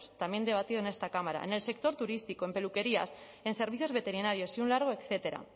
también debatido en esta cámara en el sector turístico en peluquerías en servicios veterinarios y un largo etcétera